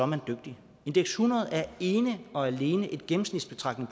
man dygtig indeks hundrede er ene og alene en gennemsnitsbetragtning